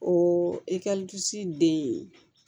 O den